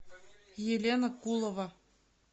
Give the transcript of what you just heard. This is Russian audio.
елена кулова